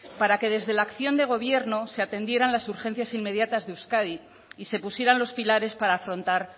para que desde la acción de gobierno se atendieran las urgencias inmediatas de euskadi y se pusieran los pilares para afrontar